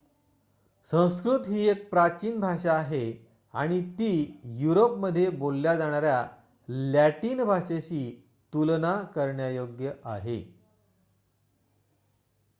संस्कृत ही एक प्राचीन भाषा आहे आणि ती युरोपमध्ये बोलल्या जाणार्‍या लॅटिन भाषेशी तुलना करण्यायोग्य आहे